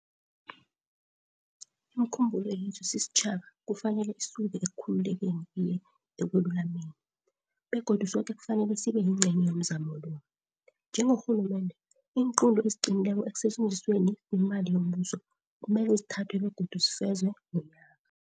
Imikhumbulo yethu sisitjhaba kufanele isuke ekukhululekeni iye ekwelulameni, begodu soke kufanele sibe yingcenye yomzamo lo. Njengorhulumende, iinqunto eziqinileko ekusetjenzisweni kwemali yombuso kumele zithathwe begodu zifezwe nonyaka.